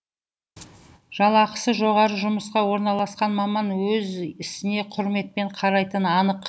жалақысы жоғары жұмысқа орналасқан маман өз ісіне құрметпен қарайтыны анық